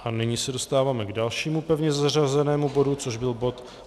A nyní se dostáváme k dalšímu pevně zařazenému bodu, což byl bod